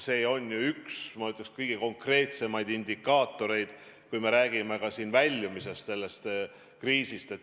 See on ju üks, ma ütleks, kõige konkreetsemaid indikaatoreid, kui me räägime ka väljumisest sellest kriisist.